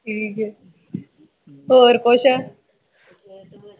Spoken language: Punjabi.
ਹੋਰ ਕੁਛ